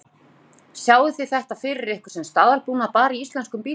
Þóra: Sjáið þið þetta fyrir ykkur sem staðalbúnað bara í íslenskum bílum?